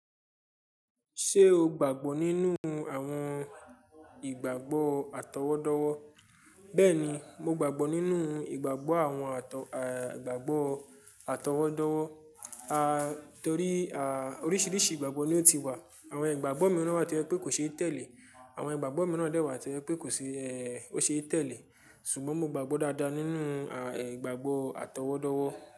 Ṣé o gbàgbọ́ nínú àwọn ìgbàgbọ́ àtọwọ́dọ́wọ́? Bẹ́ẹ̀ni, mo gbàgbọ́ nínú ìgbàgbọ́ àwọn àt-à ìgbàgbọ́ àtọwọ́dọ́wọ́. Ah! Torí oríṣìíríṣìí ìgbàgbọ́ ni ó ti wà. Àwọn ìgbàgbọ́ mìíràn náà wà tó jẹ́ pé kò ṣe tẹ̀lé. Àwọn ìgbàgbọ́ mìíràn dẹ̀ wà tó jẹ́ pé kò ṣe é, ó ṣe é tẹ̀lé. Ṣùgbọ́n mo gbàgbọ́ dáadáa nínú àh ehn ìgbàgbọ́ àtọwọ́dọ́wọ́.